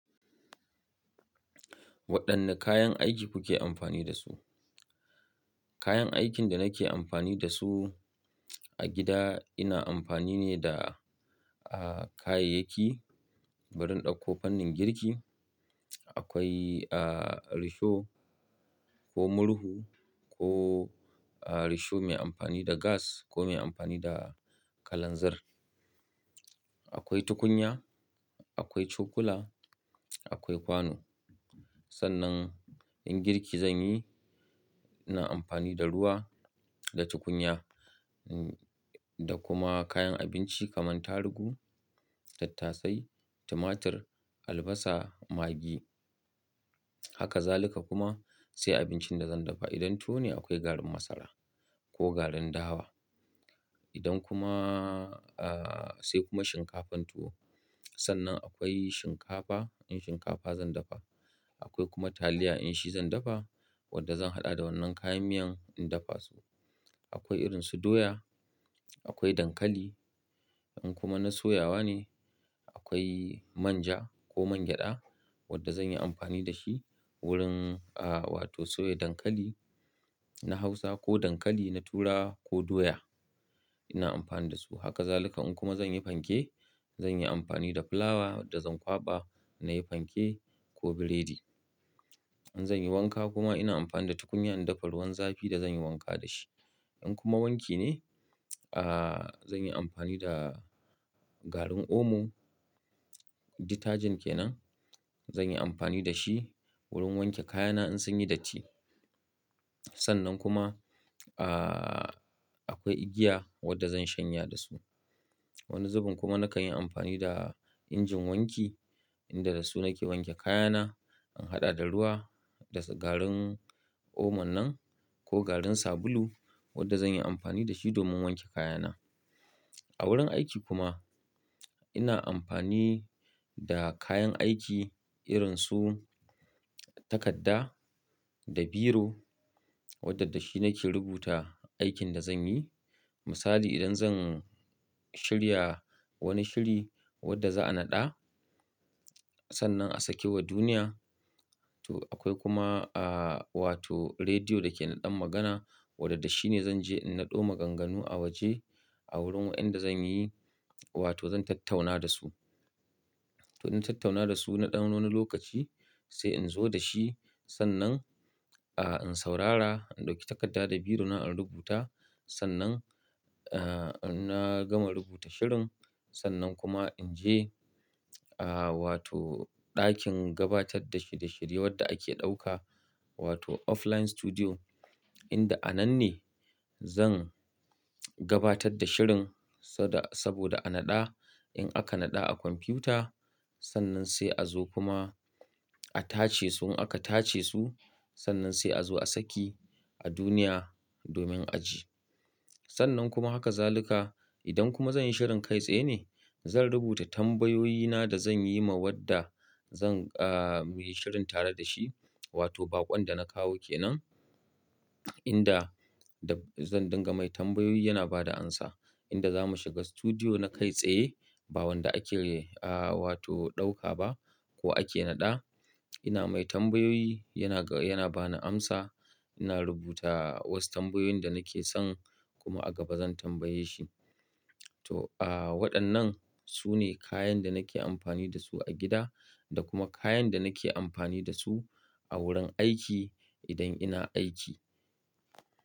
Waɗanne kayan aiki kuke amfani da su? Kayan aikin da nake amfani da su a gida ina amfani ne da, ah, kayayyaki, wurin ɗauko fannin girki. Akwai, ah, risho ko murhu ko, ah, risho mai amfani da gas ko mai amfani da kalanzir. Akwai tukunya, akwai cokula, akwai kwano. Sannan in girki zan yi, ina amfani da ruwa da tukunya, da kuma kayan abinci kamar tarugu, tattasai, tumatir, albasa, maggi. Haka zalika kuma sai abincin da zan dafa. Idan tuwo ne akwai garin masara ko garin dawa. Idan kuma, ah, sai kuma shinkafan tuwo. Sannan akwai shinkafa, in shinkafa zan dafa. Akwai kuma taliya in shi zan dafa wadda zan haɗa da wannan kayan miyan in dafa su. Akwai irin su doya, akwai dankali. In kuma na soyawa ne, akwai manja ko man gyada wadda zan yi amfani da shi wurin, ah, wato soya dankali na hausa ko dankali na turawa ko doya. Ina amfani da su. Haka zalika in kuma zan yi fanke, zan yi amfani da fulawa wadda zan kwaɓa na yi fanke ko burodi. In zan yi wanka kuma ina amfani da tukunya in dafa ruwan zafi da zan yi wanka da shi. In kuma wanki ne, ah, zan yi amfani da garin omo. Detergent kenan. Zan yi amfani da shi wurin wanke kayana in sun yi datti. Sannan kuma, ah, akwai igiya wadda zan shanya da su. Wani zubin kuma nakan yi amfani da injin wanki inda da su nake wanke kayana, in haɗa da ruwa da garin omo nan ko garin sabulu wadda zan yi amfani da shi domin wanke kayana. A wurin aiki kuma ina amfani da kayan aiki irin su takarda da biro wadda dashi nake rubuta aikin da zan yi. Misali idan zan shirya wani shiri wadda za a naɗa, sannan a saki wa duniya. To akwai kuma, ah, wato rediyo da ke naɗan magana wadanda shi ne zan je in naɗo maganganu a waje a wurin inda zan yi wato zan tattauna da su. To in tattauna da su naɗan wani lokaci sai in zo da shi sannan, ah, in saurara, in ɗauki takarda da biro na in rubuta. Sannan, ah, in na gama rubuta shirin, sannan kuma in je, ah, wato ɗakin gabatar da shirye-shirye wadda ake ɗauka wato offline studio inda a nan ne zan gabatar da shirin sada-- saboda a naɗa. In aka naɗa a kwamfiyuta sannan sai a zo kuma a tace su. In aka tace su sannan sai a zo a saki a duniya domin a ji. Sannan kuma haka zaluka. Idan kuma zan yi shirin kai tsaye ne, zan rubuta tambayoyina da zan yi ma wadda zan, ah, muyi shirin tare da shi wato baƙon da na kawo ke nan inda zan dinga mai tambayoyi yana ba da amsa. Inda za mu shiga studiyo na kai tsaye ba wanda ake, ah, wato ɗauka ba ko ake naɗa. Ina mai tambayoyi yana, yana ba ni amsa. Ina rubuta wasu tambayoyin da nake son kuma a gaba zan tambaye shi. To, ah, waɗannan su ne kayan da nake amfani da su a gida da kuma kayan da nake amfani da su a wurin aiki idan ina aiki.